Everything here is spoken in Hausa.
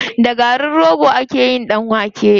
Da garin rogo ake yin ɗan wake.